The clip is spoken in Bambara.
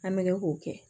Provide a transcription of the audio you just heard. An bɛ kɛ k'o kɛ